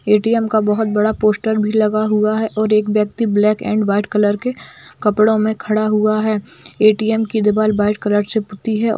ATM बहुत बडा poster भी लगा हुआ है और एक व्यक्ति ब्लैक एन्ड व्हाइट कलर के कपडो मे खडा हुआ है एटीएम की दिवार व्हाइट कलर से पूति है।